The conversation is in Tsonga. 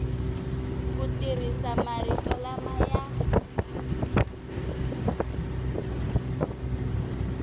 ku tirhisa marito lama ya